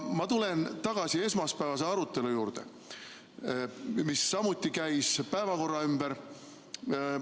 Ma tulen tagasi esmaspäevase arutelu juurde, mis samuti käis päevakorra ümber.